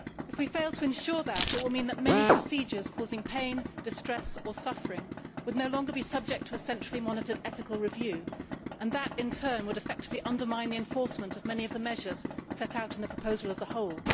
If we fail to ensure that, it will mean that many procedures causing pain, distress or suffering would no longer be subject to a centrally monitored ethical review and that in turn would effectively undermine the enforcement of many of the measures set out in the proposal as a whole.